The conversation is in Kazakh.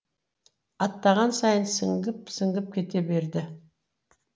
аттаған сайын сіңіп сіңіп кете берді